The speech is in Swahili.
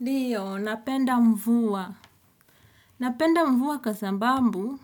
Ndio, napenda mvua. Napenda mvua kwa sambambu.